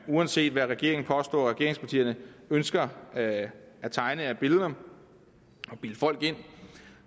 uanset hvad regeringen påstår og hvad regeringspartierne ønsker at tegne af billeder og bilde folk ind